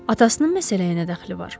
Atasının məsələyə nə dəxli var?